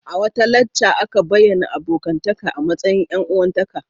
A wata lacca a bayyana abokantaka a matsayin ƴan-uwantaka.